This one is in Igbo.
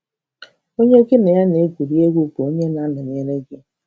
Onye gị na ya na - egwuri egwu bụ onye na - anọnyere gị.